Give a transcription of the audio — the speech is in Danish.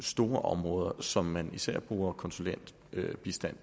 store områder som man især bruger konsulentbistand